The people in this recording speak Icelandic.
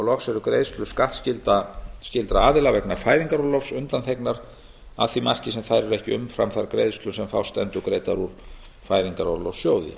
loks eru greiðslur skattskyldra aðila vegna fæðingarorlofs undanþegnar að því marki sem þær eru ekki umfram þær greiðslur sem fást endurgreiddar úr fæðingarorlofssjóði